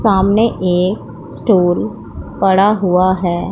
सामने एक स्टूल पड़ा हुआ है।